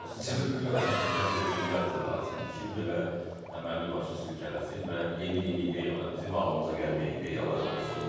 Bizə o sistem, bizə də defibrilyator lazımdır ki, belə əməlli başlı silkələsin və yeni-yeni ideyalar, bizim ağlımıza gəlməyən ideyalar olsun.